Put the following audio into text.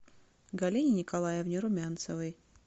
галине николаевне румянцевой